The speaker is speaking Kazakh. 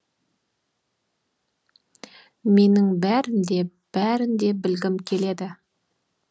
менің бәрін де бәрін де білгім келеді